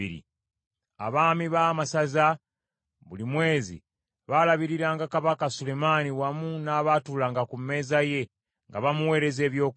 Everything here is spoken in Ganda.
Abaami ba masaza, buli mwezi baalabiriranga Kabaka Sulemaani wamu n’abaatuulanga ku mmeeza ye, nga bamuweereza ebyokulya.